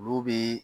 Olu bi